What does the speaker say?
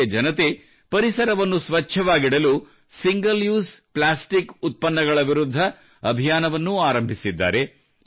ಇಲ್ಲಿಯ ಜನತೆ ಪರಿಸರವನ್ನು ಸ್ವಚ್ಛವಾಗಿಡಲು ಸಿಂಗಲ್ ಯೂಸ್ ಪ್ಲಾಸ್ಟಿಕ್ ಉತ್ಪನ್ನಗಳ ವಿರುದ್ಧ ಅಭಿಯಾನವನ್ನೂ ಆರಂಭಿಸಿದ್ದಾರೆ